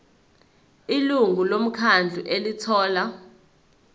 ilungu lomkhandlu elithola